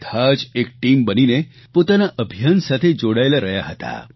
બધા જ એક ટીમ બનીને પોતાના અભિયાન સાથે જોડાયેલા રહ્યા હતા